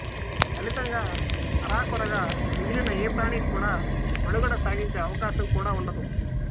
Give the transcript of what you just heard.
ఫలితంగా అరా కొరాగా మిగిలిన ఏ ప్రాణీ కూడా మనుగడ సాగించే అవకాశం కూడా ఉండదు